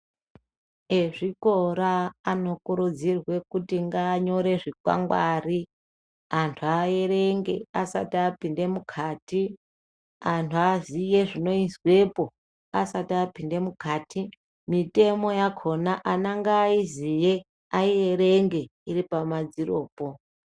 Ezvikora anokurudzirwe kuti nganyore zvikwangwari, antu aerenge asati apinda mukati. Antu aziye zvinozwepo asati apinde mukati mitemo yakona ana ngaaiziye aierenge pamadziropo.